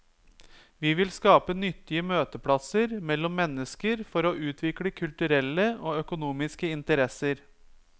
Vi vil skape nyttige møteplasser mellom mennesker for å utvikle kulturelle og økonomiske interesser.